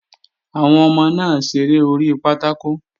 Àwọn ọmọ náà ń ṣeré orí pátákò